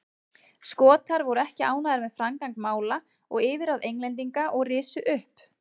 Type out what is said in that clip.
Skotar voru ekki ánægðir með framgang mála og yfirráð Englendinga og risu upp.